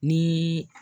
Ni